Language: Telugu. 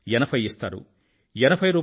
80 ఇస్తారు రూ